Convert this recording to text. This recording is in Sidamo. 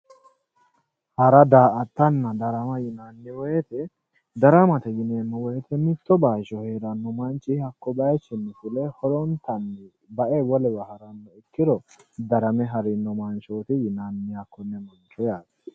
Hara, da"aattanna, darama yineemmo woyte daramate yineemmo woyte mitto bayicho heerano manchi horontanni bae wolewa haranoha ikkoro darame ha'rino manchoti yinnanni hakkone mancho yaate.